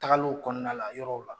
Tagaliw kɔnɔna la yɔrɔw la.